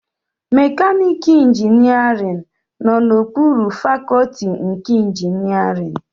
Mekaniika ịnjinierịn nọ na okpuru fakọtị nke ịnjinierịn